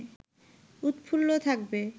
উৎফুল্ল থাকবে